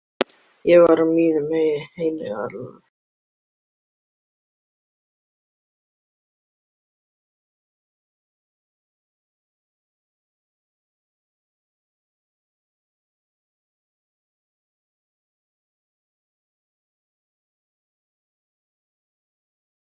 Þetta á að koma honum á óvart.